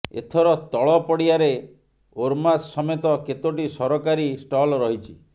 ଏଥର ତଳପଡିଆରେ ଓରମାସ ସମେତ କେତୋଟି ସରକାରୀ ଷ୍ଟଲ୍ ରହିଛି